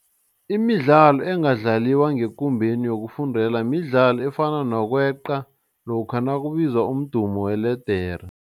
Imidlalo engadlaliwa ngekumbeni yokufundela midlalo efana nokweqa lokha nakubizwa umdumo weledere.